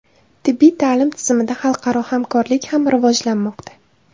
Tibbiy ta’lim tizimida xalqaro hamkorlik ham rivojlanmoqda.